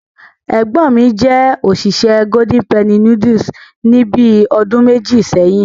Ẹ̀gbọ́n mi jẹ́ òṣìṣẹ́ Golden Penny Noodles ní bíi ọdún méjì sẹ́yìn.